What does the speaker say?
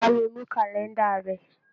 Bá mi mú kàlẹ́ńdà rẹ.